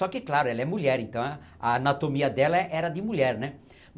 Só que, claro, ela é mulher, então a a anatomia dela era de mulher, né?